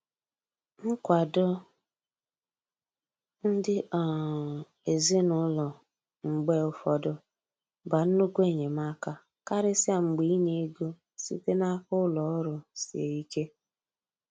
Nkwado ndi um ezinaụlọ mgbe ụfọdụ ba nnukwu enyemaka, karịsịa mgbe inye ego site n'aka ụlọ ọrụ sie ike.